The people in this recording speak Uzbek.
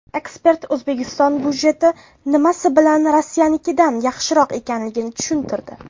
Ekspert O‘zbekiston budjeti nimasi bilan Rossiyanikidan yaxshiroq ekanligini tushuntirdi.